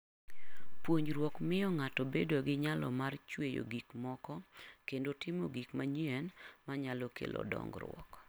Puonjruok miyo ng'ato bedo gi nyalo mar chweyo gik moko kendo timo gik manyien manyalo kelo dongruok.